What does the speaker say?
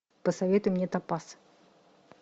посоветуй мне топаз